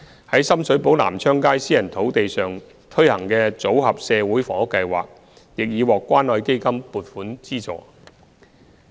於深水埗南昌街私人土地上推行的"組合社會房屋計劃"亦已獲關愛基金撥款資助。